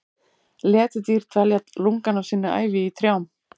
Letidýr dvelja lungann af sinni ævi í trjám.